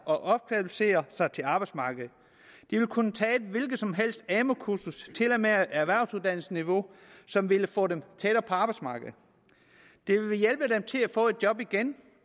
og opkvalificere sig til arbejdsmarkedet de vil kunne tage et hvilket som helst amu kursus til og med erhvervsuddannelsesniveau som vil få dem tættere på arbejdsmarkedet det vil hjælpe dem til at få et job igen